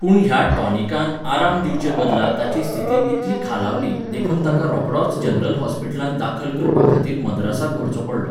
पूण ह्या टॉनिकान आराम दिवचे बदला ताची स्थिती इतली खालावली देखून ताका रोखडोच जनरल हॉस्पिटलांत दाखल करपा खातीर मद्रासाक व्हरचो पडलो.